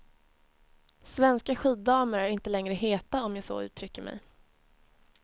Svenska skiddamer är inte längre heta, om jag så uttrycker mig.